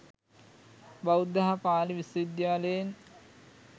බෞද්ධ හා පාලි විශ්වවිද්‍යාලයෙන්